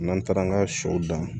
N'an taara an ka sɔw dan